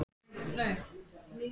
Alltaf virkjað krafta þess til fulls.